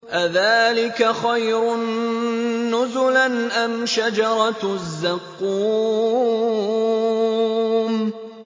أَذَٰلِكَ خَيْرٌ نُّزُلًا أَمْ شَجَرَةُ الزَّقُّومِ